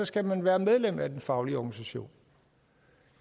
skal man være medlem af den faglige organisation